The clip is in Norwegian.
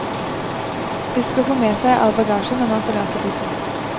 Husk å få med seg all bagasje når man forlater bussen.